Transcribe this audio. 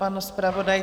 Pan zpravodaj?